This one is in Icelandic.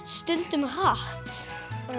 stundum hratt